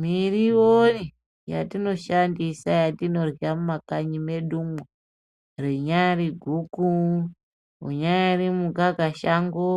Miriwo yatinoshandisa yatinorya mumakanyi mwedumwo ,rinyari guku, unyari mukakashango,